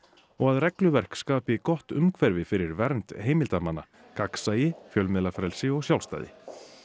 og að regluverk skapi gott umhverfi fyrir vernd heimildarmanna gagnsæi fjölmiðlafrelsi og sjálfstæði